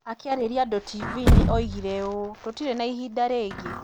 Akĩarĩria andũ TV-inĩ, oigire ũũ: 'Tũtirĩ na ihinda rĩngĩ.